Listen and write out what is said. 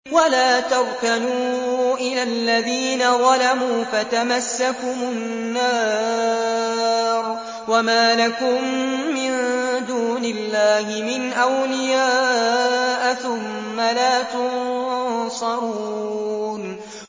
وَلَا تَرْكَنُوا إِلَى الَّذِينَ ظَلَمُوا فَتَمَسَّكُمُ النَّارُ وَمَا لَكُم مِّن دُونِ اللَّهِ مِنْ أَوْلِيَاءَ ثُمَّ لَا تُنصَرُونَ